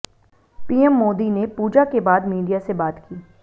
PM Modi ने पूजा के बाद मीडिया से बात की